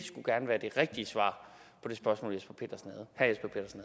rigtige svar på det spørgsmål herre